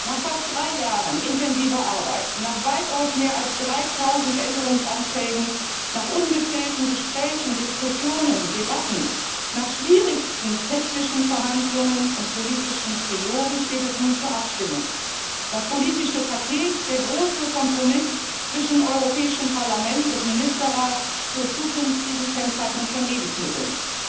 Nach fast drei Jahren intensiver Arbeit, nach weitaus mehr als 3000 Änderungsanträgen, nach ungezählten Gesprächen, Diskussionen, Debatten, nach schwierigsten technischen Verhandlungen und politischen Trilogen steht es nun zur Abstimmung das politische Paket, der große Kompromiss zwischen Europäischem Parlament und Ministerrat zur zukünftigen Kennzeichnung von Lebensmitteln.